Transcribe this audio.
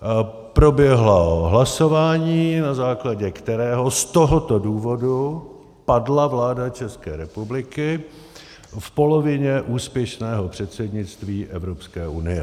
Proběhlo hlasování, na základě kterého z tohoto důvodu padla vláda České republiky v polovině úspěšného předsednictví Evropské unie.